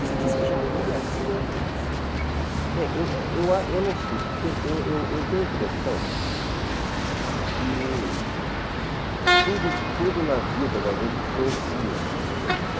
Você disse que já lia thrillers, mas... Eh, eu eu eu eu não sei, porque eu tenho a impressão que tudo tudo na vida da gente influencia a gente, né?